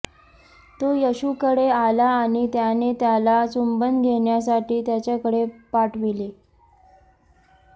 तो येशूकडे आला आणि त्याने त्याला चुंबन घेण्यासाठी त्याच्याकडे पाठविले